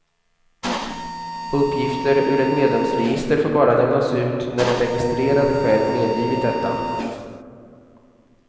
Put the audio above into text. Uppgifter ur ett medlemsregister får bara lämnas ut när den registrerade själv medgivit detta.